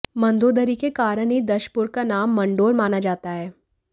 मंदोदरी के कारण ही दशपुर का नाम मंडोर माना जाता है